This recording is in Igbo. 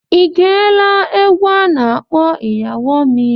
I geela egwu a na-akpọ Iyawo MI?